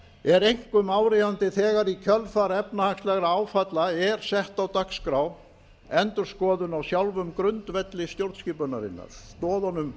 er einkum áríðandi þegar í kjölfar efnahagslegra áfalla er sett á dagskrá endurskoðun á sjálfum grundvelli stjórnskipunarinnar stoðunum